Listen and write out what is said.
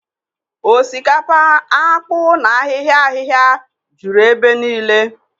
Osikapa, akpu na ahịhịa ahịhịa juru ebe niile